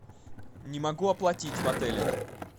не могу оплатить в отеле